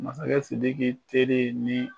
Masakɛ sidiki teri ye ni